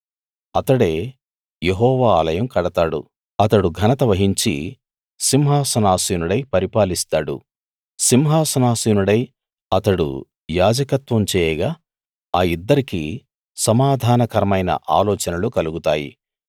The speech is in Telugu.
అతడే యెహోవా ఆలయం కడతాడు అతడు ఘనత వహించి సింహాసనాసీనుడై పరిపాలిస్తాడు సింహాసనాసీనుడై అతడు యాజకత్వం చేయగా ఆ యిద్దరికీ సమాధానకరమైన ఆలోచనలు కలుగుతాయి